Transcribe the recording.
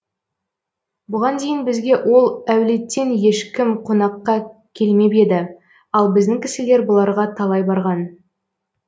бұған дейін бізге ол әулеттен ешкім қонаққа қелмеп еді ал біздің кісілер бұларға талай барған